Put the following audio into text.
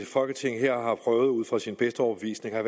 folketinget her har prøvet ud fra sin bedste overbevisning at